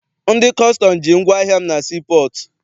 Ndị kọstọm ji ngwaahịa m na sii pọọtụ.